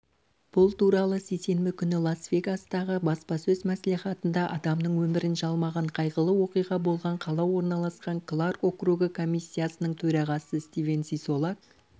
бұл туралы сейсенбі күні лас-вегастағы баспасөз мәслихатында адамның өмірін жалмаған қайғылы оқиға болған қала орналасқан кларк округі комиссиясының төрағасы стивен сисолак